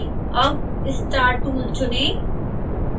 अब star tool चुनें